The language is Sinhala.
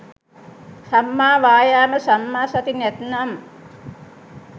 සම්මා වායාම සම්මා සති නැත්නම්